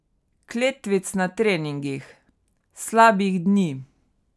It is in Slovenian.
Kletvic na treningih, slabih dni ...